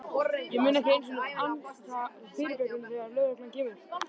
Ég mun ekki einu sinni ansa dyrabjöllunni þegar lögreglan kemur.